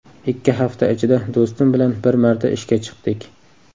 Ikki hafta ichida do‘stim bilan bir marta ishga chiqdik.